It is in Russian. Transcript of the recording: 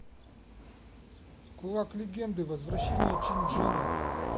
кулак легенды возвращение чэнь чжэня